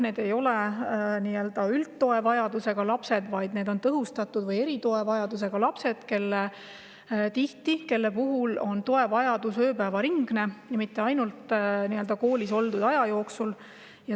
Need ei ole üldtoe vajadusega lapsed, vaid tõhustatud või eritoe vajadusega lapsed, kes ei vaja tuge mitte ainult koolis oldud aja jooksul, vaid tihti ööpäev ringi.